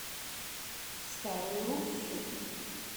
старую руссу